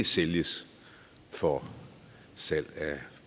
sælges for salg af